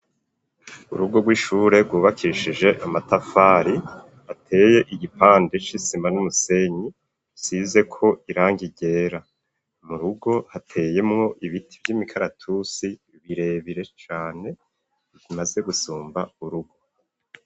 Urugo rw'ishure rwubakishije amatafari ateye igipande c'isima n'umusenyi isizeko irangi ryera mu rugo hateyemwo ibiti vy'imikaratusi birebire cane imaze gusumba urugo.